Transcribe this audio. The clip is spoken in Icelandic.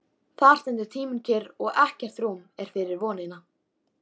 Þar stendur tíminn kyrr og ekkert rúm er fyrir vonina.